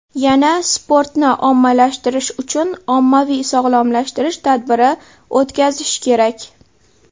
Yana sportni ommalashtirish uchun ommaviy sog‘lomlashtirish tadbiri o‘tkazish kerak.